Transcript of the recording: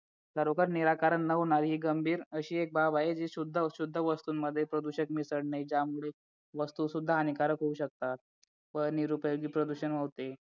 खरोखर निराकरण नवनवीन गंभीर अशी एक बाब आहे जी शुद्ध वस्तूंमध्ये प्रदूषक मिसळते त्यामुळे वस्तू सुद्धा हानिकारक होऊ शकतात व निरुपयोगी प्रदूषण होते